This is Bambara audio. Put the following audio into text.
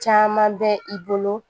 Caman bɛ i bolo